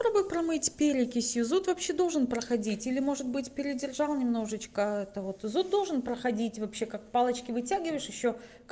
попробуй промыть перекисью зуд вообще должен проходить или может быть передержал немножечко это вот зуд должен проходить вообще как палочки вытягиваешь ещё